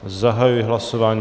Zahajuji hlasování.